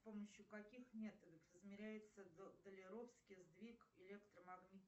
с помощью каких методов измеряется долеровский сдвиг электромагнитных